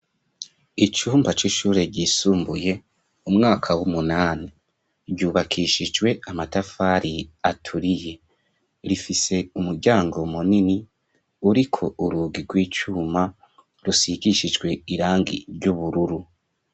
Icumba c'ishure ryisumbuye umwaka w'umunani ryubakishijwe amatafari aturiye rifise umuryango munini uriko urugi rw'icyuma rusigishijwe irangi ry'ubururu.